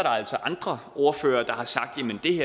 altså andre ordførere der har sagt